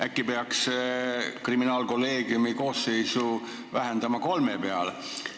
Äkki peaks kriminaalkolleegiumi koosseisu vähendama kolme inimese peale?